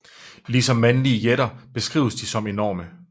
Ligesom mandlige jætter beskrives de som enorme